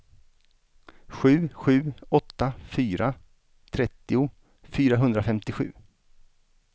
sju sju åtta fyra trettio fyrahundrafemtiosju